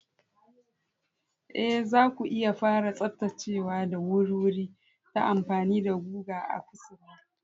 Ee, zaku iya fara tsaftacewa da wuri-wuri ta amfani da guga a kusurwa.